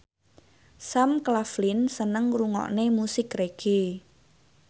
Sam Claflin seneng ngrungokne musik reggae